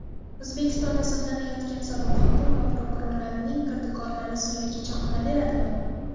O‘zbekistonda sudlanayotgan sobiq hokim va prokurorlarning kirdikorlari sirligicha qolaveradimi?.